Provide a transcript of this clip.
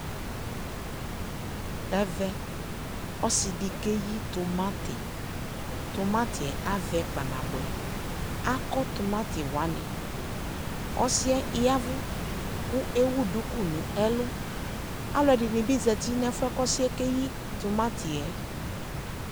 Ɛvɛ, ɔsɩ dɩ keyi tʋmatɩ Tʋmatɩ yɛ avɛ kpanabʋɛ Akɔ tʋmatɩ wanɩ Ɔsɩ yɛ ya ɛvʋ kʋ ewu duku nʋ ɛlʋ Alʋɛdɩnɩ bɩ zati nʋ ɛfʋ yɛ kʋ ɔsɩ yɛ keyi tʋmatɩ yɛ